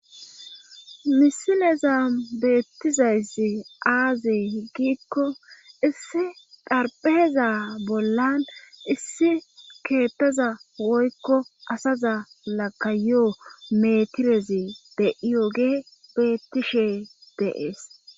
misineza beettizaysi aazi gikko issi xarpheeza bollan issi keettaza woykko asaza lakaiyo metirezi de7iyoge beettishe deees